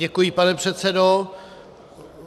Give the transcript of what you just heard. Děkuji, pane předsedo.